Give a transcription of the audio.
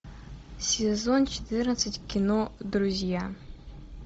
сезон четырнадцать кино друзья